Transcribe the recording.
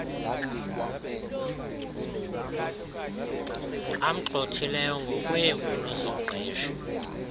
amgxhothileyo ngokweemfuno zomqeshi